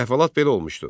Əhvalat belə olmuşdu.